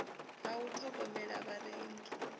ya u ṱhogomela ya vharengi